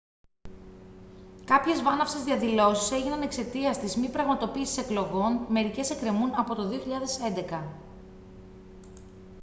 κάποιες βάναυσες διαδηλώσεις έγιναν εξαιτίας της μη πραγματοποίησης εκλογών μερικές εκκρεμούν από το 2011